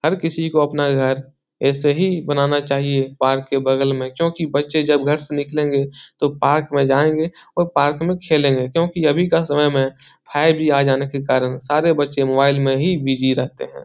हर किसको अपना घर ऐसे ही बनाना चाहिए पार्क के बगल में क्यूंकि बच्चे जब घर से निकलेंगे तो पार्क में जायेंगे और पार्क में खेलेंगे क्यूंकि अभी का समय में फाइव जी आ जाने के कारण सारे बच्चे मोबाइल में ही बीजी रहते हैं ।